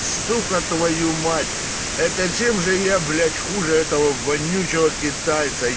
сука твою мать это чем же я блять хуже этого вонючего китайца